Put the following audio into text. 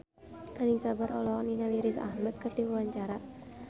Anisa Bahar olohok ningali Riz Ahmed keur diwawancara